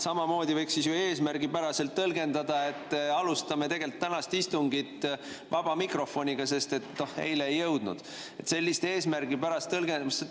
Samamoodi võiks ju eesmärgipäraselt tõlgendada, et alustame tänast istungit vaba mikrofoniga, sest eile me selleni ei jõudnud.